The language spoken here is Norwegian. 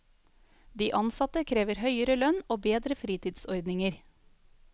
De ansatte krever høyere lønn og bedre fritidsordninger.